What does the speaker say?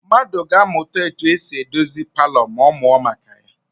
Mmadụ ga-amụta etu esi edozi palọ ma ọ mụọ maka ya.